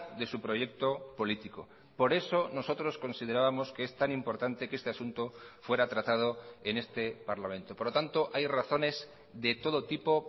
de su proyecto político por eso nosotros considerábamos que es tan importante que este asunto fuera tratado en este parlamento por lo tanto hay razones de todo tipo